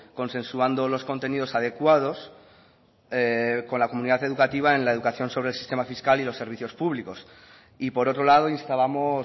consensuando los contenidos adecuados con la comunidad educativa en la educación sobre el sistema fiscal y los servicios públicos y por otro lado instábamos